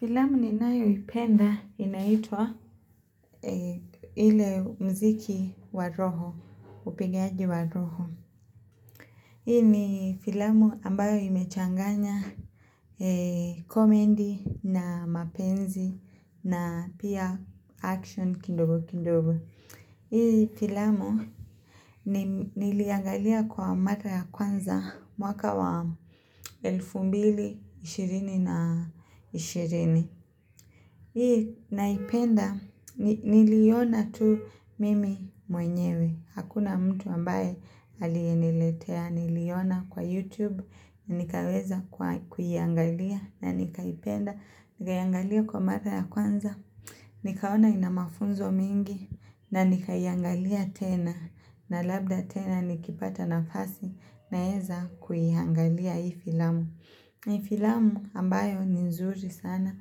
Filamu ninayoipenda inaitwa ile muziki wa roho, upigaji wa roho. Hii ni filamu ambayo imechanganya komedi na mapenzi na pia action kidogo kidogo. Hii filamu niliangalia kwa mara ya kwanza mwaka wa elfu mbili ishirini na ishirini. Hii naipenda, niliona tu mimi mwenyewe, hakuna mtu ambaye aliyeniletea, niliiona kwa YouTube, nikaweza kuiangalia, na nikaipenda, nikaangalia kwa mara ya kwanza, nikaona ina mafunzo mingi, na nikaiangalia tena, na labda tena nikipata nafasi, naeza kuiangalia hii filamu. Ni filamu ambayo ni nzuri sana,